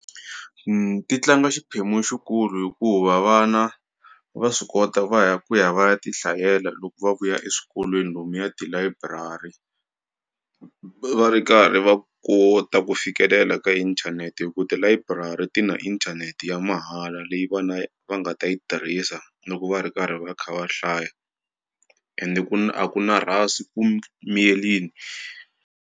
ti tlanga xiphemu xikulu hikuva vana va swi kota va ya ku ya va ya tihlayela loko va vuya eswikolweni lomuya tilayiburari va ri karhi va kota ku fikelela ka inthanete hi ku tilayiburari ti na inthanete ya mahala leyi vana va nga ta yi tirhisa loko va ri karhi va kha va hlaya ende ku na a ku na rhasi ku miyelini.